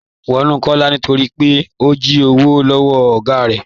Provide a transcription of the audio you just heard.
Wọn mú Kọlá nítorí pé ó jí òwò lọwọ́ ọ̀gá rẹ.